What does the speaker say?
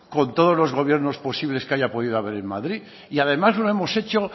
con todos los gobiernos posibles que haya podido haber en madrid y además lo hemos hecho